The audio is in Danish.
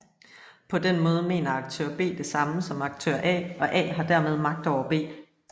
På den måde mener aktør B det samme som aktør A og A har dermed magt over B